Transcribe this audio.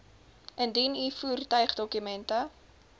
indien u voertuigdokumente